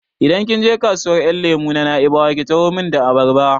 Idan kin je kasuwar ƴan lemo ta Na'ibawa ki taho min da abarba!